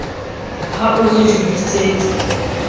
ha o re re bitsetse